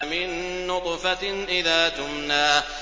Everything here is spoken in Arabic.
مِن نُّطْفَةٍ إِذَا تُمْنَىٰ